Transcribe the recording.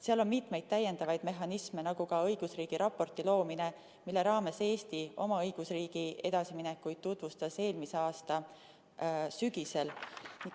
Seal on mitmeid täiendavaid mehhanisme, nagu ka õigusriigi raporti loomine, mille raames Eesti tutvustas oma õigusriigi edasiminekuid eelmise aasta sügisel.